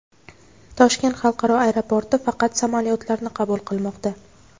Toshkent xalqaro aeroporti faqat samolyotlarni qabul qilmoqda.